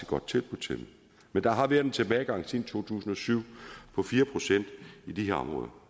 godt tilbud til dem men der har været en tilbagegang siden to tusind og syv på fire procent i de her områder